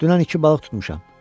Dünən iki balıq tutmuşam.